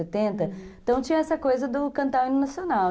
Uhum, então tinha essa coisa do cantar o hino nacional.